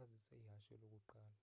azisa ihashe lokuqala